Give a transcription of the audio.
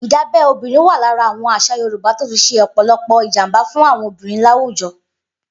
Idábẹ̀ òbìrín wà làrá awọn àṣà yòrùbá tó ti ṣé ọpọlọpọ ijàmbá fùn awọn obìrín làwújọ̀